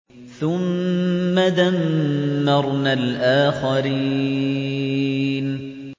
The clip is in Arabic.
ثُمَّ دَمَّرْنَا الْآخَرِينَ